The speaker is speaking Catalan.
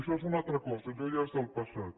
això és una alta cosa allò ja és del passat